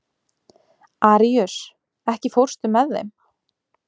Aríus, ekki fórstu með þeim?